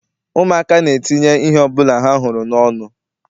Ụmụaka na-etinye ihe ọbụla ha hụrụ n'ọnụ.